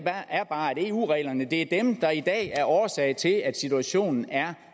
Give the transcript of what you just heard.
er bare at eu reglerne er dem der i dag er årsag til at situationen er